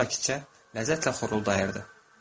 Pişik sakitcə ləzzətlə xoruldayırdı.